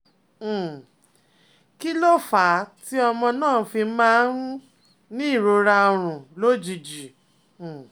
um Kí ló fà á tí ọmọ náà fi máa ń um ní ìrora orun lójijì? um